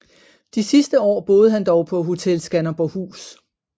De sidste år boede han dog på Hotel Skanderborghus